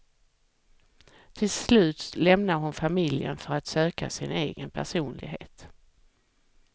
Till slut lämnar hon familjen för att söka sin egen personlighet.